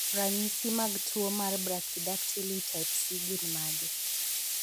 Ranyisi mag tuwo mar Brachydactyly type C gin mage?